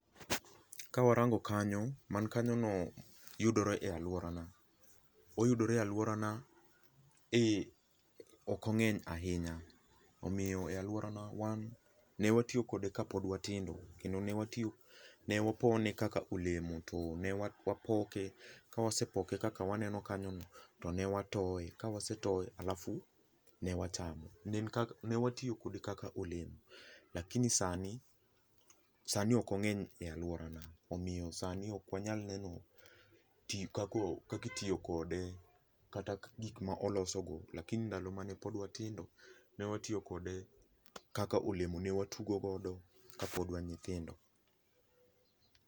Kawarango kanyo, man kanyono yudore e aluorana. Oyudoree aluorana ,eeh, ok ongeny ahinya, omiyo e aluorana wan ne watiyo kode kapod watindo kendo ne watiyo, ne wapone kaka olemo tone wapoke, ka wasepoke kaka waneno kanyo no tone watoye, ka wasetoye halafu ne wachamo, ne watiyokode kaka olemo lakini sani, sani ok ongeny e aluorana, omiyo sani ok wanyal neno kaka itiyo kode kata gikma oloso go lcs]lakini ndalo mane pod watindo ne watoiyo kode kaka olemo, ne watugo godo kapod wan nyithindo